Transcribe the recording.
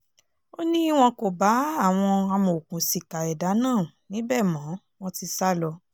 ó ní wọn kò bá àwọn amòòkùnsìkà ẹ̀dà náà níbẹ̀ mọ́ wọn ti sá lọ